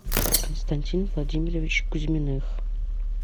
константин владимирович кузьминых